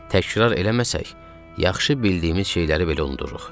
Təkrar eləməsək, yaxşı bildiyimiz şeyləri belə unuduruq.